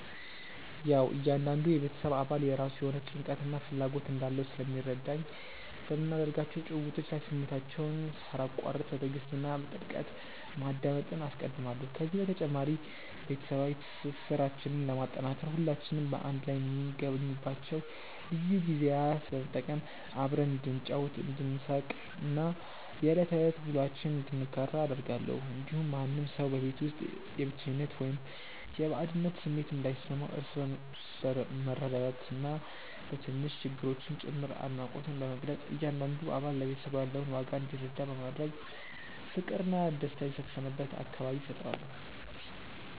ያዉ እያንዳንዱ የቤተሰብ አባል የራሱ የሆነ ጭንቀትና ፍላጎት እንዳለው ስለሚረዳኝ፣ በምናደርጋቸው ጭውውቶች ላይ ስሜታቸውን ሳላቋርጥ በትዕግስት እና በጥልቀት ማዳመጥን አስቀድማለሁ። ከዚህ በተጨማሪ፣ ቤተሰባዊ ትስስራችንን ለማጠናከር ሁላችንም በአንድ ላይ የምንገኝባቸውን ልዩ ጊዜያት በመጠቀም አብረን እንድንጫወት፣ እንድንሳቅ እና የዕለት ተዕለት ውሎአችንን እንድንጋራ አደርጋለሁ። እንዲሁም ማንም ሰው በቤት ውስጥ የብቸኝነት ወይም የባዕድነት ስሜት እንዳይሰማው፣ እርስ በእርስ በመረዳዳትና በትናንሽ ነገሮችም ጭምር አድናቆትን በመግለጽ እያንዳንዱ አባል ለቤተሰቡ ያለውን ዋጋ እንዲረዳ በማድረግ ፍቅርና ደስታ የሰፈነበት አካባቢ እፈጥራለሁ።